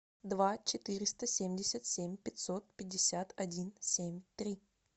два четыреста семьдесят семь пятьсот пятьдесят один семь три